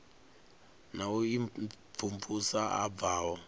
na u imvumvusa a bvaho